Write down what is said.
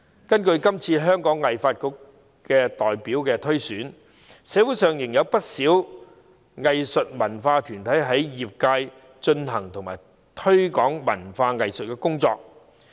從今次香港藝術發展局代表推選所見，社會上仍有不少藝術文化團體在業界進行和推廣文化藝術工作。